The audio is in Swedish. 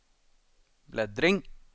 bläddring